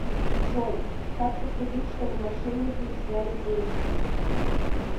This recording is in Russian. джой как поступить чтобы мошенники не сняли деньги